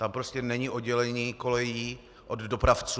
Tam prostě není oddělení kolejí od dopravců.